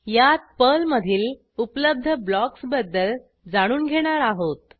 यात पर्लमधील उपलब्ध ब्लॉक्स बद्दल जाणून घेणार आहोत